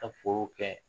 Ka foro kɛ